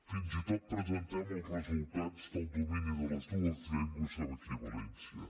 fins i tot presentem els resultats del domini de les dues llengües en equivalència